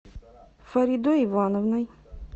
фаридой ивановной